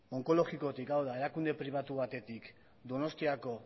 onkologikotik erakunde pribatu batetik donostiako